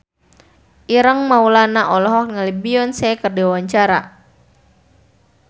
Ireng Maulana olohok ningali Beyonce keur diwawancara